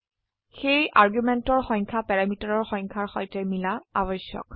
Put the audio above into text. সেয়ে আৰ্গুমেন্টেৰ সংখ্যা প্যাৰামিটাৰৰ সংখ্যাৰ সৈতে মিলা আবশ্যক